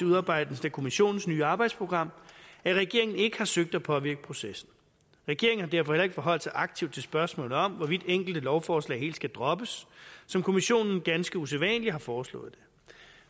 udarbejdelsen af kommissionens nye arbejdsprogram at regeringen ikke har søgt at påvirke processen regeringen har derfor heller ikke forholdt sig aktivt til spørgsmålet om hvorvidt enkelte lovforslag helt skal droppes som kommissionen ganske usædvanligt har foreslået